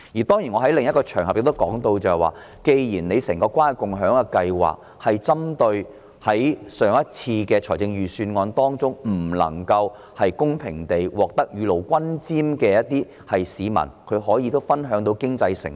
當然，我在另一個場合亦提及，政府的整個關愛共享計劃是針對在上次預算案中未能公平地獲得雨露均霑的市民，使他們也可分享經濟成果。